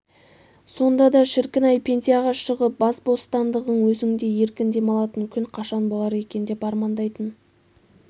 сондай да шіркін-ай пенсияға шығып бас бостандығың өзіңде еркін демалатын күн қашан болар екен деп армандайтын